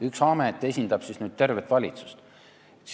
Üks amet esindab nüüd tervet valitsust.